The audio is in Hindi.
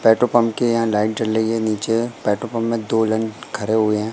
पेट्रोल पंप के यहाँ लाइट जल रहीं हैं नीचे पेट्रोल पंप में दो लाइन खड़े हुए हैं।